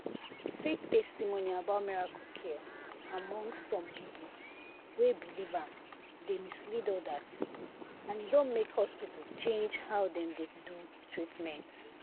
fake testimony about miracle cure among some people wey believe am dey mislead others and e don make hospital change how dem dey do treatment.